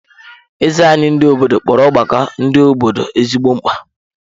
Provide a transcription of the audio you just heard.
Eze anyị ndị obodo kpọrọ ọgbakọ ndị obodo ezigbo mkpa.